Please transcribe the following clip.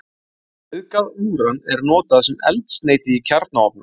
Auðgað úran er notað sem eldsneyti í kjarnaofna.